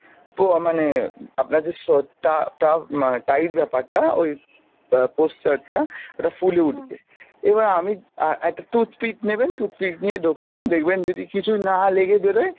আ মানে আপনার যে স~ টা~ টা~ মানে tight ব্যাপার টা ওই প~ posture টা ওটা ফুলে উঠবে , এবার আমি আ~ একটা toothpick নেবেন toothpick নিয়ে ঢোকাবেন, দেখবেন যদি কিছুই না লেগে বেরোই